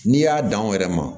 N'i y'a dan anw yɛrɛ ma